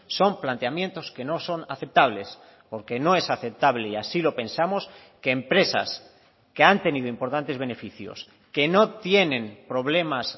son planteamientos que no son aceptables porque no es aceptable y así lo pensamos que empresas que han tenido importantes beneficios que no tienen problemas